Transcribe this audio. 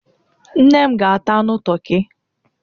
Nne m ga-ata anu toki.